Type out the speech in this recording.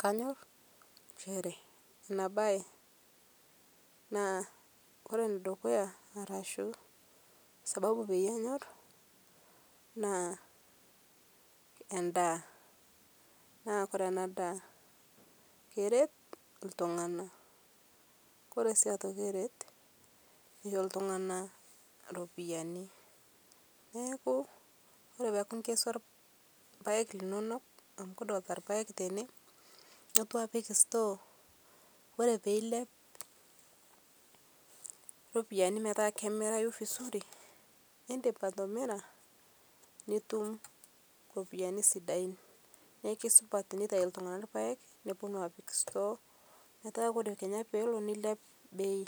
Kanyor nchere anaa bai kore nedukuyaa arashu sababu peiye anyor naa endaa naa kore ana daa keret ltung'ana kore sii otoki eret keisho ltung'ana ropiyanii naaku kore peaku inkesua lpaeg linonok amu kidolita lpaeg tenee noltu apik store kore peiliap ropiyani metaa kemirayu vizuri indim atimira nitum ropiyani sidain naa keisupat teneitai ltung'ana lpaeg neponu apik store metaa kore kenya peloo neiliap bei